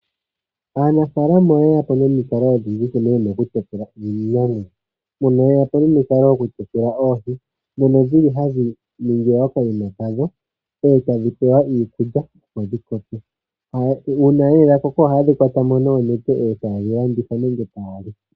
Aanafaalama oye ya po nomikalo odhindji dha nkene ye na okutekula iinamwenyo. Oye yapo nomikalo dhokutekula oohi ndhono hadhi ningilwa okandama, eta dhi pelwamo iikulya opo dhi koke. Uuna nduno dha koko ohaye dhi kwata mo nokanete e ta ye dhi landitha nenge taya li.